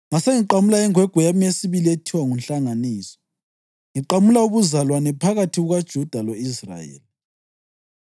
Ngasengiqamula ingwegwe yami yesibili ethiwa nguNhlanganiso, ngiqamula ubuzalwane phakathi kukaJuda lo-Israyeli.